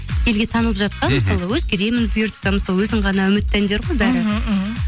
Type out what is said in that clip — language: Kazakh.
елге танылып жатқан мысалы өзгеремін бұйыртса өзің ғана үмітті әндер ғой бәрі мхм мхм